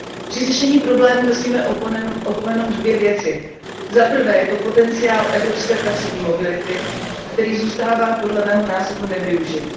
Při řešení problému nesmíme opomenout dvě věci za prvé je to potenciál evropské pracovní mobility, který zůstává podle mého názoru nevyužit.